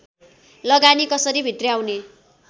लगानी कसरी भित्र्याउने